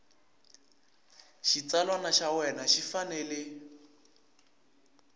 xitsalwana xa wena xi fanele